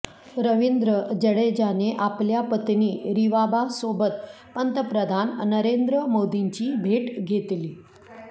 रविंद्र जडेजाने आपल्या पत्नी रिवाबासोबत पंतप्रधान नरेंद्र मोदींची भेट घेतली